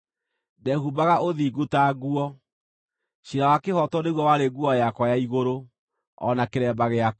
Ndehumbaga ũthingu ta nguo; ciira wa kĩhooto nĩguo warĩ nguo yakwa ya igũrũ, o na kĩremba gĩakwa.